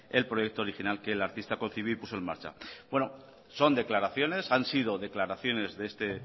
el proyecto original que el artista concibió y puso en marcha bueno son declaraciones han sido declaraciones de este